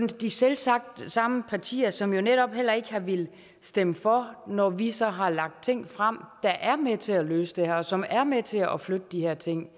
selvsagt de samme partier som netop heller ikke har villet stemme for når vi så har lagt ting frem der er med til at løse det her og som er med til at flytte de her ting